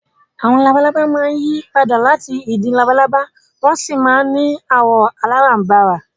Àwọn labalábá máa ń yí padà láti ìdin labalábá wọ́n sì máa ń ní àwọ̀ aláràǹbarà